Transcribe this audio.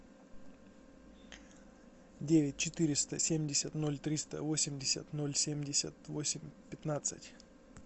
девять четыреста семьдесят ноль триста восемьдесят ноль семьдесят восемь пятнадцать